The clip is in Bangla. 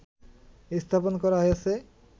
স্থাপন করা হয়েছে